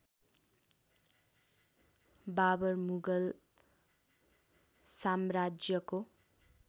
बाबर मुगल साम्राज्यको